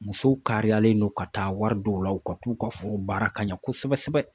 Musow kariyalen don ka taa wari dɔw la, u ka t'u ka forow baara ka ɲa kosɛbɛ sɛbɛ .